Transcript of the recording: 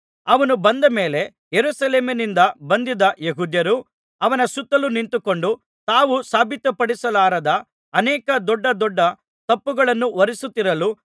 ಅವನು ಬಂದ ಮೇಲೆ ಯೆರೂಸಲೇಮಿನಿಂದ ಬಂದಿದ್ದ ಯೆಹೂದ್ಯರು ಅವನ ಸುತ್ತಲು ನಿಂತುಕೊಂಡು ತಾವು ಸಾಬೀತುಪಡಿಸಲಾರದ ಅನೇಕ ದೊಡ್ಡ ದೊಡ್ಡ ತಪ್ಪುಗಳನ್ನು ಹೊರಿಸುತ್ತಿರಲು